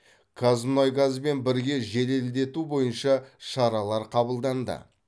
қазмұнайгазбен бірге жеделдету бойынша шаралар қабылданды